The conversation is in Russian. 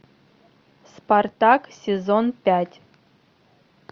спартак сезон пять